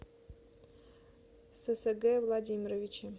сэсэге владимировиче